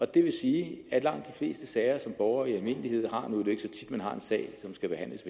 det vil sige at langt de fleste sager som borgere i almindelighed har nu er det ikke så tit man har en sag som skal behandles